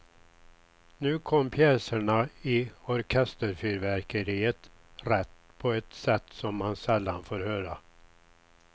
Nu kom pjäserna i orkesterfyrverkeriet rätt på ett sätt som man sällan får höra.